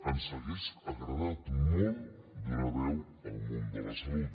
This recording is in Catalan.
ens hauria agradat molt donar veu al món de la salut